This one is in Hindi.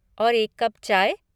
और एक कप चाय?